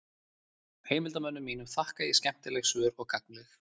heimildarmönnum mínum þakka ég skemmtileg svör og gagnleg